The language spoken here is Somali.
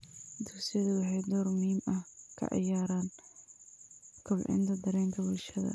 Dugsiyadu waxay door muhiim ah ka ciyaaraan kobcinta dareenka bulshada.